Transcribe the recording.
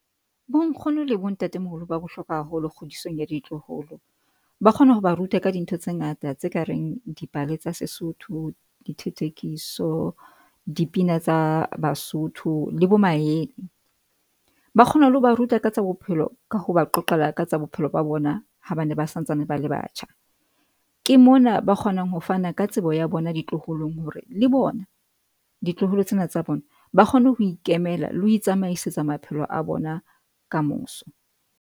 Bo nkgono le bontatemoholo ba bohlokwa haholo kgodisong ya ditloholo, ba kgona ho ba ruta ka dintho tse ngata tse kareng dipale tsa Sesotho, dithothokiso, dipina tsa Basotho le bo maele ba kgona le ho ba ruta ka tsa bophelo ka ho ba qoqela ka tsa bophelo ba bona ha ba ne ba santsane bala batjha ke mona ba kgonang ho fana ka tsebo ya bona ditloholong hore le bona ditloholo tsena tsa bona ba kgone ho ikemela le ho tsamaisa maphelo a bona ka moso.